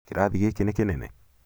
kĩrathi gĩĩkĩ nĩ kĩnene?